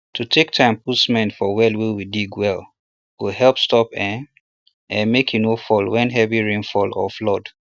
to take time put cement for well wey you dig well go help stop ahm ahm make e no fall when heavy rainfall or flood